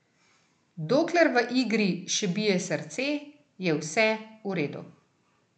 Dokler v igri še bije srce, je vse v redu.